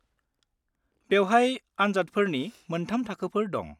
बेवहाय आनजादफोरनि मोनथाम थाखोफोर दं।